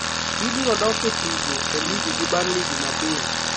Gibiro dok e tugo e lig gi Burnley Jumapil.